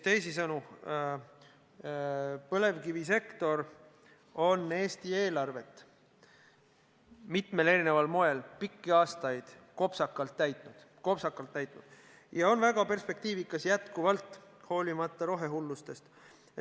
Teisisõnu, põlevkivisektor on Eesti eelarvet mitmel erineval moel pikki aastaid kopsakalt täitnud ja on väga perspektiivikas praegugi, hoolimata rohehullusest.